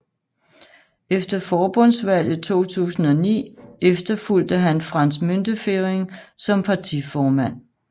Efter forbundsdagsvalget 2009 efterfulgte han Franz Müntefering som partiformand